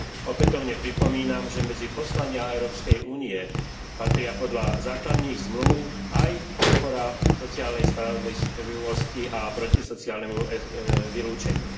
Opätovne pripomínam, že medzi poslania Európskej únie patria podľa základných zmlúv aj podpora sociálnej spravodlivosti a boj proti sociálnemu vylúčeniu.